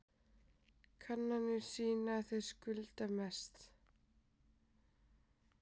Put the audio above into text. Kannanir sýna að þeir skulda mest